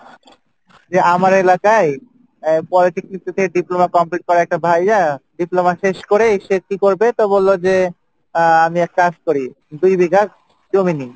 যে আমার এলাকায় আহ politic থেকে diploma করা একটা diploma শেষ করে সে কী করবে তো বললো যে আহ আমি এক কাজ করি দুই বিঘা জমি নেই